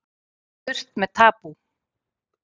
Burt með tabú